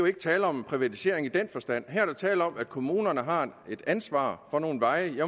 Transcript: ikke tale om privatisering i den forstand her er der tale om at kommunerne har et ansvar for nogle veje